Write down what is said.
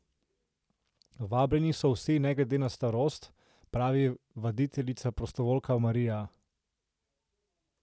Vabljeni so vsi, ne glede na starost, pravi vaditeljica prostovoljka Marija.